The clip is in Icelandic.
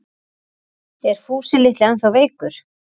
Er Fúsi litli ennþá veikur?